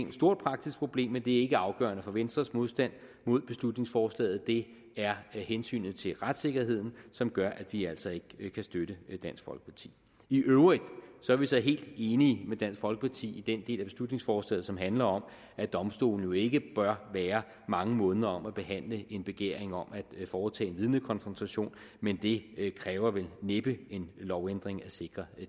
et stort praktisk problem men det er ikke afgørende for venstres modstand mod beslutningsforslaget det er hensynet til retssikkerheden som gør at vi altså ikke kan støtte dansk folkeparti i øvrigt er vi så helt enige med dansk folkeparti i den del af beslutningsforslaget som handler om at domstolene jo ikke bør være mange måneder om at behandle en begæring om at foretage en vidnekonfrontation men det kræver vel næppe en lovændring at sikre